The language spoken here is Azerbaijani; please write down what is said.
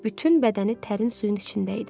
Bütün bədəni tərin suyun içində idi.